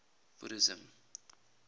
buddhism